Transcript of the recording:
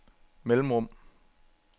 mellemrum